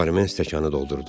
Barmin stəkanı doldurdu.